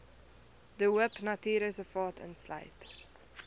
de hoopnatuurreservaat insluit